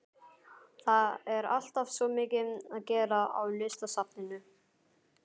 Það er alltaf svo mikið að gera á Listasafninu.